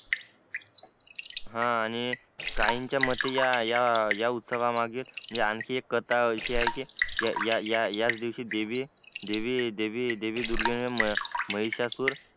हा आणि काहींच्या मते ह्या उत्सव मागे आणखी एक कथा अशी आहे कि या याच दिवशी देवी देवी दुर्गे ने महिषासुर